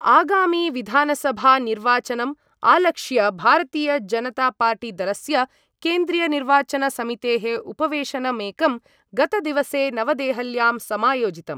आगामिविधानसभानिर्वाचनम् आलक्ष्य भारतीयजनतापार्टीदलस्य केन्द्रीयनिर्वाचनसमितेः उपवेशनमेकं गतदिवसे नवदेहल्यां समायोजितम्।